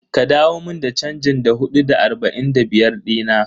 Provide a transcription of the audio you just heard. Ka dawo mun da chanjin Da hudu da arba'in da biyar dina?